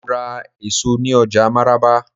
Mo ra èso ní ọjà máràba.